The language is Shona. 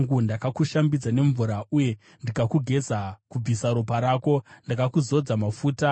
“ ‘Ndakakushambidza nemvura uye ndikakugeza kubvisa ropa rako, ndokukuzodza mafuta.